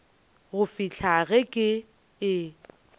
go fihlela ge ke e